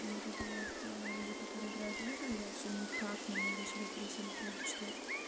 вот это вот люди которые играют в игры я всё никак не могу себя пересилить её дочитать